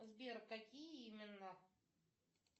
сбер какие именно